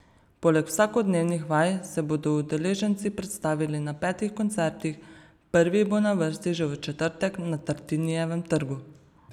Poleg vsakodnevnih vaj se bodo udeleženci predstavili na petih koncertih, prvi bo na vrsti že v četrtek na Tartinijevem trgu.